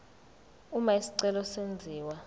uma isicelo senziwa